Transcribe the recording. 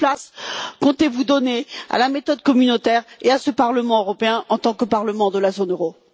Quelle place comptez vous donner à la méthode communautaire et à ce Parlement européen en tant que parlement de la zone euro?